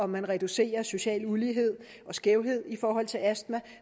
man reducerer social ulighed og skævhed i forhold til astma